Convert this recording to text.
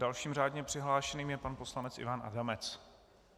Dalším řádně přihlášeným je pan poslanec Ivan Adamec.